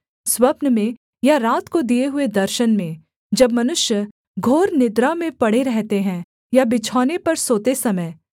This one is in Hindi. स्वप्न में या रात को दिए हुए दर्शन में जब मनुष्य घोर निद्रा में पड़े रहते हैं या बिछौने पर सोते समय